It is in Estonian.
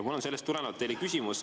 Mul on sellest tulenevalt teile küsimus.